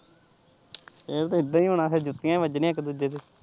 ਇਹ ਤੇ ਇਦਾ ਹੀ ਹੁਣਾ ਫਿਰ ਜੁੱਤੀਆਂ ਹੀ ਵੱਜਣੀਆ ਇੱਕ ਦੂਜੇ ਦੇ।